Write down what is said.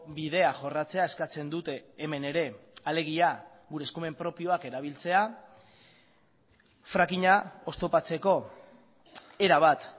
bidea jorratzea eskatzen dute hemen ere alegia gure eskumen propioak erabiltzea frackinga oztopatzeko erabat